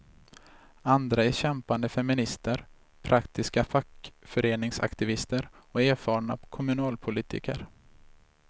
Andra är kämpande feminister, praktiska fackföreningsaktivister och erfarna kommunalpolitiker.